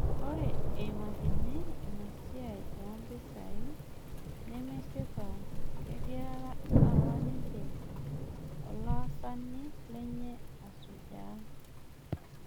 Ore eimakini Ina siai oompisai nemesipa, kegiara apa ninye olaasani lenye asujaa